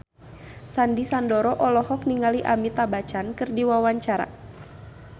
Sandy Sandoro olohok ningali Amitabh Bachchan keur diwawancara